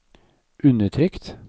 undertrykt